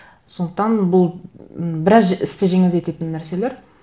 сондықтан бұл м біраз істі жеңілдететін нәрселер